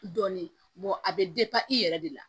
Dɔɔnin a bɛ i yɛrɛ de la